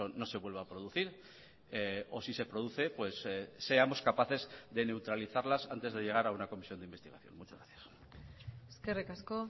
no se vuelva a producir o si se produce seamos capaces de neutralizarlas antes de llegar a una comisión de investigación muchas gracias eskerrik asko